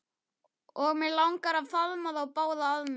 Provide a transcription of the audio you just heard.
Og mig langar til að faðma þá báða að mér.